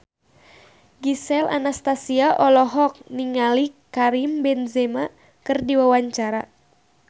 Gisel Anastasia olohok ningali Karim Benzema keur diwawancara